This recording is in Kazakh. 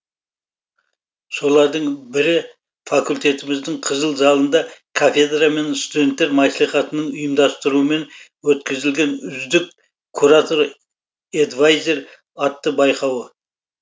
солардың бірі факультетіміздің қызыл залында кафедра мен студенттер маслихатының ұйымдастыруымен өткізілген үздік куратор эдвайзер атты байқауы